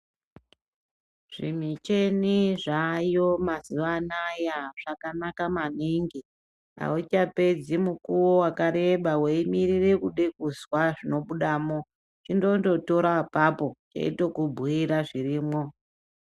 Zvimicheni zvayo mazuva anaya zvakanaka maningi. Hauchapedzi mukuvo vakareba veimirire kuda kuzwa zvinobudamo. Chindondo tora apapo cheindokubhuira zvirimwo.